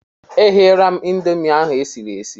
Egheela m Ịndomì ahụ esiri esi.